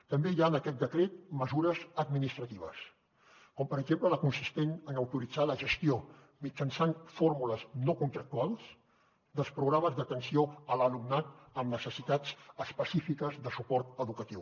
també hi ha en aquest decret mesures administratives com per exemple la consistent en autoritzar la gestió mitjançant fórmules no contractuals dels programes d’atenció a l’alumnat amb necessitats específiques de suport educatiu